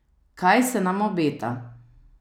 Kaj se nam obeta?